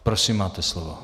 Prosím, máte slovo.